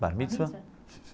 Bar Mitzvah?